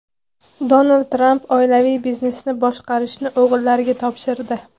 Donald Tramp oilaviy biznesni boshqarishni o‘g‘illariga topshirdi.